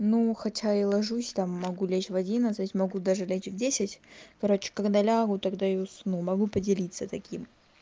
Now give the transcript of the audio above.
ну хотя и ложусь там могу лечь в одиннадцать могу даже лечь в десять короче когда лягу тогда и усну могу поделиться таким